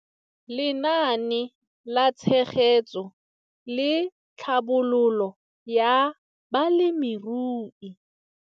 Lenaane la Tshegetso le Tlhabololo ya Balemirui.